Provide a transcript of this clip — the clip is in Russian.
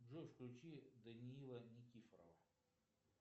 джой включи даниила никифорова